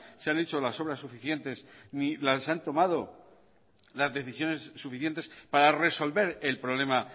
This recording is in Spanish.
se han hecho las obras suficientes ni se han tomado las decisiones suficientes para resolver el problema